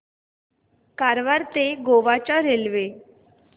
कारवार ते गोवा च्या रेल्वे